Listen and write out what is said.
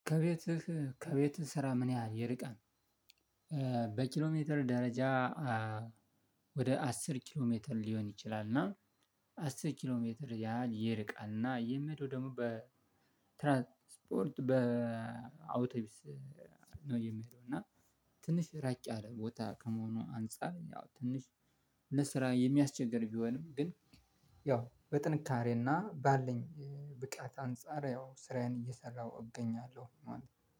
ከቤትህ ከቤትህ ስራ ምን ያህል ይርቃን በኪሎሜትር ደረጃ? ወደ አስር ኪሎሜትር ሊሆን ይችላል እና አስር ኪሎሜትር ያህል ይርቃል። እና የምሄደው ደግሞ ትራንስፖርት በ አውቶቢስ ነው የሚሄደው። እና ትንሽ ራቅ ያለ ቦታ ከመሆኑ አንፃር ያው ትንሽ ለስራ የሚያስቸግር ቢሆንም ግን ያው በጥንካሬና ባለኝ ብቃት አንፃር ያው ስራዬን እየሰራሁ እገኛለሁ ማለት ነው